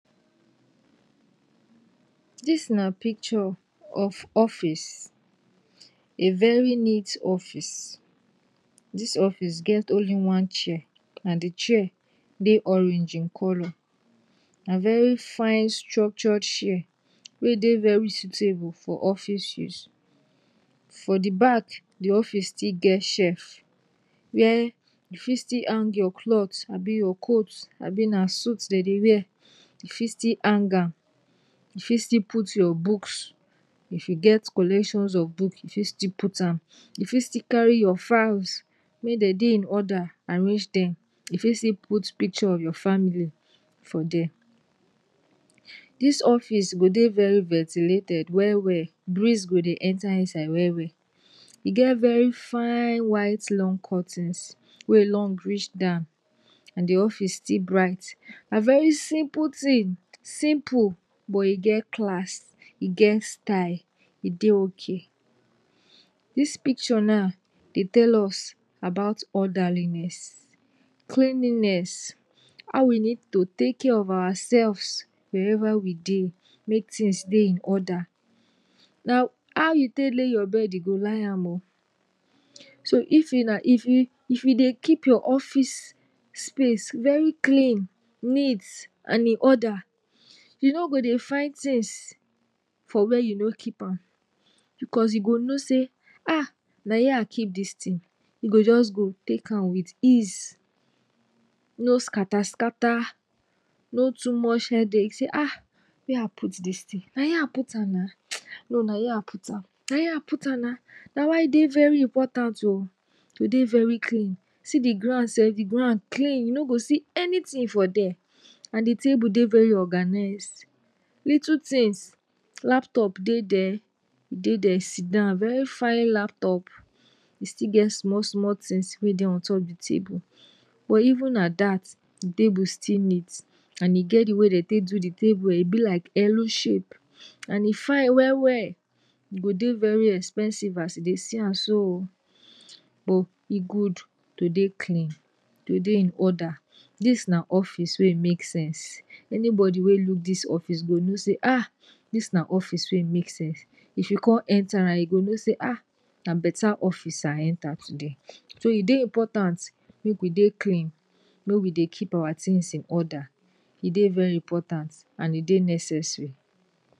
dis na picture of of office, a very neat office, dis office get only one chair and the chair Dey orange in color, na very fine structured share wey Dey very suitable for office use, for the back the office still get shef where you fit still hang your clothe abi your coat abi na suit Dey Dey wear, u fit still hang am, u fit still put your books if you get collections of book, u fit still put am, u fit still carry your files may Dey Dey im order arrange dem, u fit still carry your put picture of your family for dier, dis office go Dey very ventilated well well, breeze go Dey enter inside wel wel, e get very fine white long curtains wey long reach down and the office still bright, na very simple tin, simple buh e get class, e get style, e Dey okay, dis picture now Dey tell us about orderliness, cleaniness, how we need to take care of ourselves wherever we Dey, make tins Dey in order, na ow you take lay your bed u go lie am o, so if you dey, if you Dey keep ur office space very clean, neat and in order, u no go Dey find tins for Wer u no keep am, because u go know say um na here I keep dis tin, u go jus go take am with ease, no scatter scatter, no too mush headache say um, Wer I put dis tin, na here I put am na, um, no na here I put am, na why e Dey important o to Dey very clean um, see the ground sef, the ground Dey very clean, u no go see anything for der and the table Dey very organized, little things, laptop Dey der, e Dey der sidan, very fine laptop, e still get small small things wey Dey ontop the table buh even at that the table still neat, and e get the way wey den take do the table um, e be like Elu shape and e fine wel wel, e go Dey very expensive as u Dey see am so o, buh e good to Dey clean,. to Dey in order, dis na office wey e make sense, anybody wey look dis office go know say um dis na office wey make sense, if you come enter ram u go know say um na beta office I enter today, so e Dey important make we Dey clean, may we Dey keep our things in order, e Dey very important and e Dey necessary.